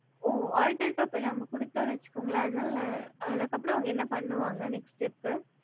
ஓ adittor copy நம்ப குடுத்தனு வச்சுக்கோங்ஹால அதுக்கு அப்புறம் என்ன பண்ணுவாங்க next seap